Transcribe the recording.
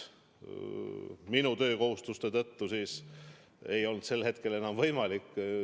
Minu töökohustuste tõttu ei olnud see pärast seda enam võimalik.